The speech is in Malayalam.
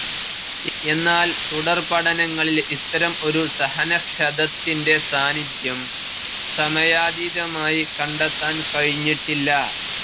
എന്നാൽ തുടർപഠനങ്ങളിൽ ഇത്തരം ഒരു സഹനക്ഷതത്തിൻ്റെ സാന്നിധ്യം സമയാതീതമായി കണ്ടെത്താൻ കഴിഞ്ഞിട്ടില്ല.